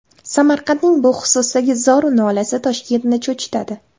Samarqandning bu xususdagi zor-u nolasi Toshkentni cho‘chitadi.